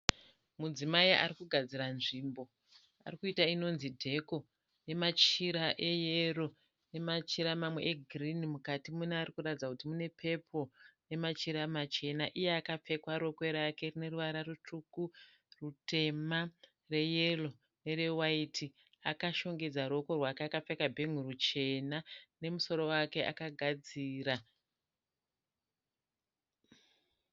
Mudzimai arikugadzira nzvimbo. Arikuita inonzi dheko nemachira eyero nemachira mamwe egirini mukati mune arikuratidza kuti mune pepuro nemachira machena. Iye akapfeka rokwe rake rineruvara rutsvuku, rutema neyero nerewaiti. Akashongedza ruoko akapfeka bhengoro chena nemusoro wake akagadzira.